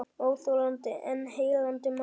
Óþolandi en heillandi maður